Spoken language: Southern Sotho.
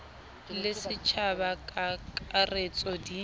le setjhaba ka kakaretso di